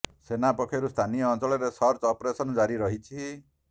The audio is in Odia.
ସେନା ପକ୍ଷରୁ ସ୍ଥାନୀୟ ଅଞ୍ଚଳରେ ସର୍ଚ୍ଚ ଅପରେସନ ଜାରି ରହିଛି